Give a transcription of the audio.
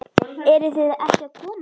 Eruð þið ekki að koma?